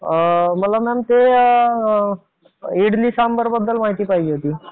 मला मॅडम इडली सांबर बद्दल माहिती पाहिजे होती.